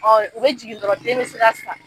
u be jigin dɔrɔn den me se ka sa